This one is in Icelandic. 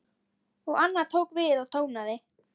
Og annar tók við og tónaði: